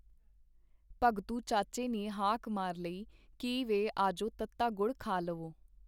ਭਗਤੂ ਚਾਚੇ ਨੇ ਹਾਕ ਮਾਰ ਲਈ ਕੀ ਵੇ ਆਜੋ ਤੱਤਾ ਗੁੜ ਖਾ ਲਵੋ.